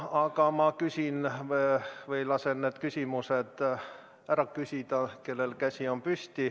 Aga ma lasen neil, kellel on käsi püsti, küsimused ära küsida.